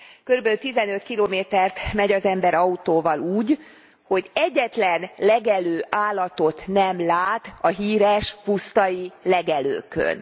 Körülbelül 15 kilométert megy az ember autóval úgy, hogy egyetlen legelő állatot nem lát a híres pusztai legelőkön.